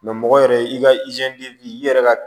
mɔgɔ yɛrɛ i ka i yɛrɛ ka